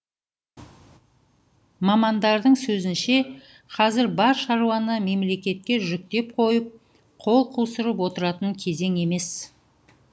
мамандардың сөзінше қазір бар шаруаны мемлекетке жүктеп қойып қол қусырып отыратын кезең емес